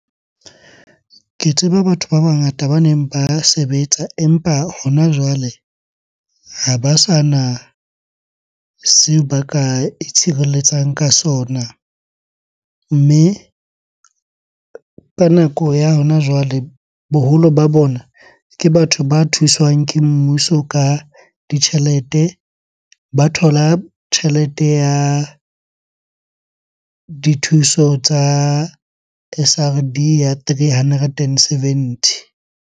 Ke tseba batho ba bangata baneng ba sebetsa, empa hona jwale ha ba sana seo ba ka itshireletsang ka sona. Mme ka nako ya hona jwale boholo ba bona, ke batho ba thuswang ke mmuso ka ditjhelete. Ba thola tjhelete ya dithuso tsa S_R_D ya three hundred and seventy.